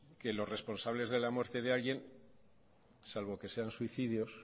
que los responsables de la muerte de alguien salvo que sean suicidios